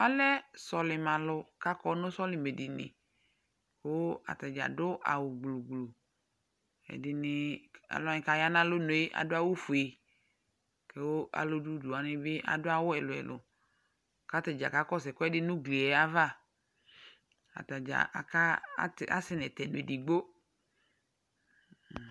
Ɛmɛ lɛ sɔlɩmɛalʋ kʋ akɔnʋ sɔlɩmɛdini kʋ ata dza adʋ awʋgblu gblu Ɛdɩnɩ, alʋ wanɩ kʋ aya nʋ alɔnu yɛ adʋ awʋfue kʋ alʋ dʋ udu wanɩ bɩ adʋ awʋ ɛlʋ-ɛlʋ kʋ ata dza kakɔsʋ ɛkʋɛdɩ nʋ ugli yɛ ava Ata dza aka asɛ nʋ ɛtɛnʋ edigbo